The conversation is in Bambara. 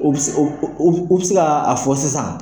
O bi se o o o bi se k'a fɔ sisan.